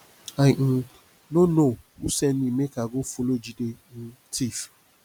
i um no know who send me make i go follow jide um thief